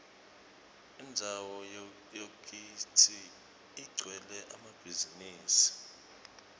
indzawo yakitsi igcwele emabhizimisi